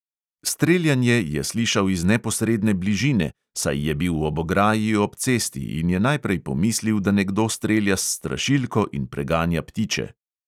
Streljanje je slišal iz neposredne bližine, saj je bil ob ograji ob cesti, in je najprej pomislil, da nekdo strelja s strašilko in preganja ptiče.